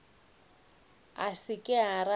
a se ke a rata